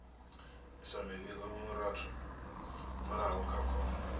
isa muvhigo murahu kha khoro